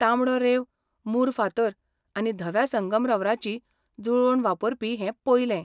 तांबडो रेंव मूर फातर आनी धव्या संगमरवराची जुळवण वापरपी हें पयलें.